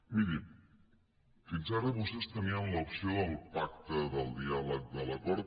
miri fins ara vostès tenien l’opció del pacte del diàleg de l’acord